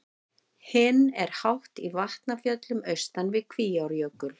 Hinn er hátt í Vatnafjöllum austan við Kvíárjökul.